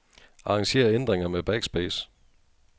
Arranger ændringer med backspace.